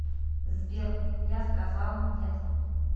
сбер я сказал нет